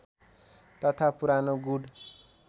तथा पुरानो गुड